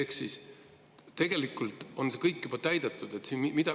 Ehk siis tegelikult on see kõik juba täidetud.